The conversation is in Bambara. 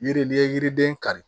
Yiri n'i ye yiriden kari